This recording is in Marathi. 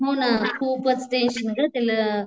हो ग खूपच टेन्शन ग तिला